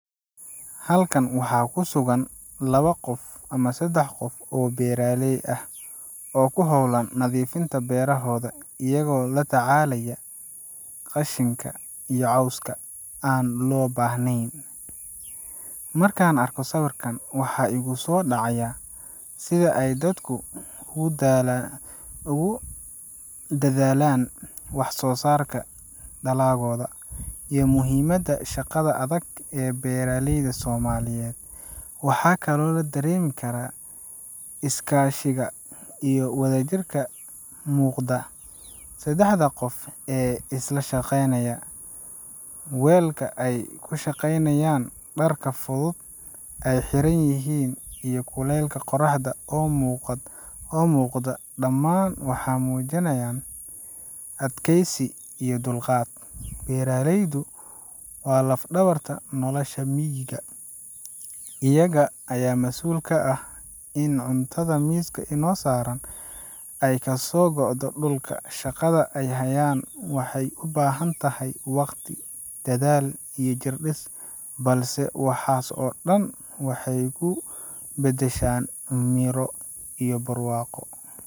Halkan waxaa ku sugan laba qof ama sedax qof oo beeraley ah oo ku hawlan nadiifinta beerahooda, iyagoo la tacaalaya qashinka iyo cawska aan loo baahnayn. Markaan arko sawirkan, waxaa igu soo dhacaya sida ay dadku ugu dadaalaan wax soo-saarka dalagooda, iyo muhiimadda shaqada adag ee beeraleyda Soomaaliyeed. Waxaa kaloo la dareemi karaa iskaashiga iyo wadajirka ka muuqda sedaxda qof ee isla shaqaynaya. Weelka ay ku shaqaynayaan, dharka fudud ee ay xiran yihiin, iyo kulaylka qorraxda oo muuqda dhammaan waxay muujinayaan adkaysi iyo dulqaad. Beeraleydu waa laf-dhabarta nolasha miyiga, iyaga ayaa mas'uul ka ah in cuntada miiska inoo saaran ay kasoo go'do dhulka. Shaqada ay hayaan waxay u baahan tahay waqti, dadaal, iyo jirdhis, balse waxaas oo dhan waxay ku beddeshaan miro iyo barwaaqo.